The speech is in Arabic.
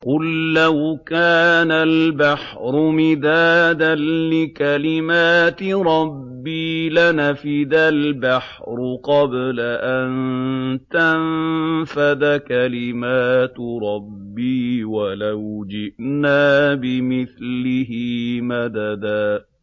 قُل لَّوْ كَانَ الْبَحْرُ مِدَادًا لِّكَلِمَاتِ رَبِّي لَنَفِدَ الْبَحْرُ قَبْلَ أَن تَنفَدَ كَلِمَاتُ رَبِّي وَلَوْ جِئْنَا بِمِثْلِهِ مَدَدًا